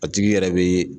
A tigi yɛrɛ bɛ